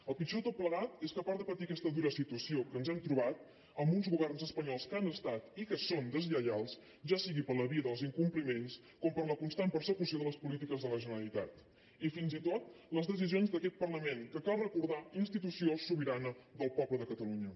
el pitjor de tot plegat és que a part de patir aquesta dura situació que ens hem trobat amb uns governs espanyols que han estat i que són deslleials ja sigui per la via dels incompliments com per la constant persecució de les polítiques de la generalitat i fins i tot les decisions d’aquest parlament que cal recordar institució sobirana del poble de catalunya